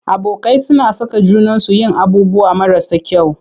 Abokai suna saka junansu yin abubuwan marasa kyau.